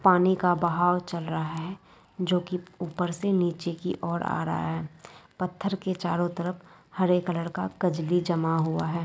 पानी का बहाव चल रहा है जो कि ऊपर से नीचे की ओर आ रहा है पत्थर के चारों तरफ हरे कलर का कजली जमा हुआ है।